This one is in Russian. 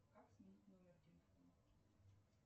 как сменить номер телефона